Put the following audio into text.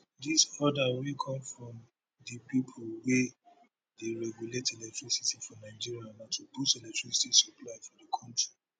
dis order wey come from di pipo wey dey regulate electricity for nigeria na to boost electricity supply for di kontri